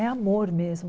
É amor mesmo.